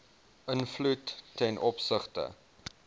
invloed ten opsigte